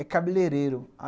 É cabeleireiro.